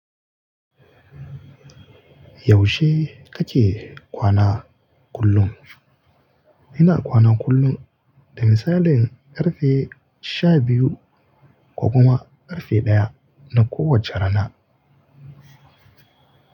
Yaushe kake kwana kullum? Ina kwana kullum, da misalin ƙarfe sha biyu ko kuma ƙarfe ɗaya na kowacce rana.